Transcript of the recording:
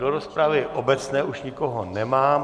Do rozpravy obecné už nikoho nemám.